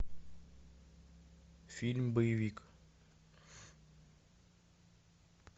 фильм боевик